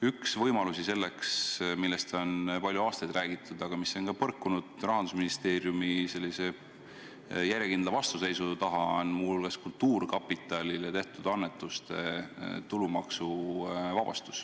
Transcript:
Üks võimalus, millest on palju aastaid räägitud, aga mis on põrkunud Rahandusministeeriumi järjekindlale vastuseisule, on kultuurkapitalile tehtud annetuste vabastamine tulumaksust.